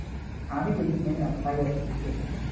আমি দেখি নাই আমার ভাইরা দেখছিল